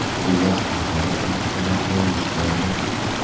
Xullas, nihoyat tarixiy voqea yuz berdi.